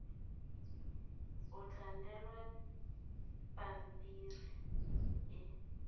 o tla newa phemiti e